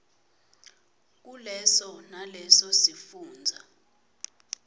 kuleso naleso sifundza